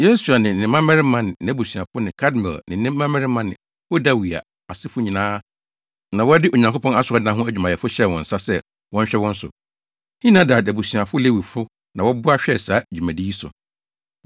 Yesua ne ne mmabarima ne nʼabusuafo ne Kadmiel ne ne mmabarima ne Hodawia asefo nyinaa na wɔde Onyankopɔn asɔredan ho adwumayɛfo hyɛɛ wɔn nsa sɛ wɔnhwɛ wɔn so. Henadad abusuafo Lewifo na wɔboaa hwɛɛ saa dwumadi yi so.